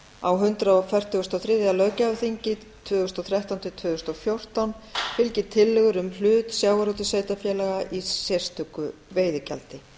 á hundrað fertugasta og þriðja löggjafarþingi tvö þúsund og þrettán til tvö þúsund og fjórtán fylgi tillögur um hlut sjávarútvegssveitarfélaga í sérstöku veiðigjaldi